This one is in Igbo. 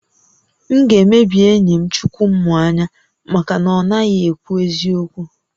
M ga-emebi enyi m Chukwumuanya maka na ọ naghị ekwu eziokwu